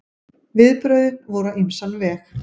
Viðbrögðin voru á ýmsan veg.